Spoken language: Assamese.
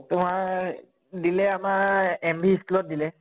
তোমাৰ দিলে আমাৰ MP school ত দিলে